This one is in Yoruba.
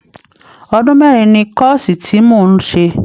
Ọdún mẹ́rin ni kọ́ọ̀sì tí mò ń ṣe